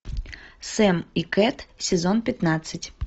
сэм и кэт сезон пятнадцать